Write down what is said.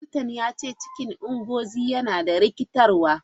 Likitan ya ce cikin Ngozi yana da rikitarwa.